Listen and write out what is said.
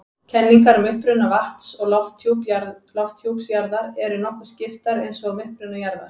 Kenningar um uppruna vatns- og lofthjúps jarðar eru nokkuð skiptar eins og um uppruna jarðar.